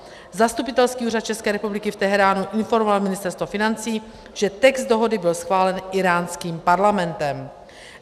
Zastupitelský úřad České republiky v Teheránu informoval Ministerstvo financí, že text dohody byl schválen íránským parlamentem.